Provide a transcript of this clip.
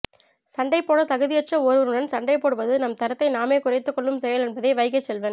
சண்டைப் போடத் தகுதியற்ற ஒருவருடன் சண்டைப் போடுவது நம் தரத்தை நாமே குறைத்துக் கொள்ளும் செயல் என்பதை வைகைச்செல்வன்